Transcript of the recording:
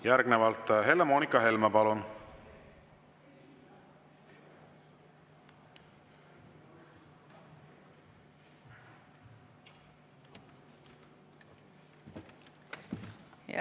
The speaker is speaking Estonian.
Järgnevalt Helle-Moonika Helme, palun!